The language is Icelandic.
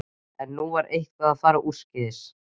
En nú var eitthvað að fara úrskeiðis.